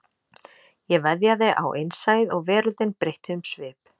Ég veðjaði á innsæið og veröldin breytti um svip